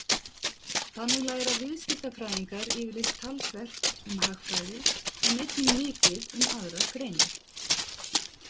Þannig læra viðskiptafræðingar yfirleitt talsvert um hagfræði en einnig mikið um aðrar greinar.